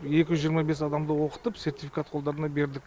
екі жүз жиырма бес адамды оқытып сертификат қолдарына бердік